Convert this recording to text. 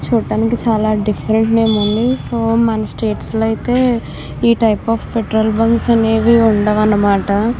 చూడ్డానికి చాలా డిఫరెంట్ గా ఉంది. సో మన స్టేట్స్ లో అయితే ఈ టైప్ ఆఫ్ పెట్రోల్ బంక్స్ అనేవి ఉండవన్నమాట.